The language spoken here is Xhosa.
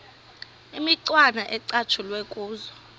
imicwana ecatshulwe kuzo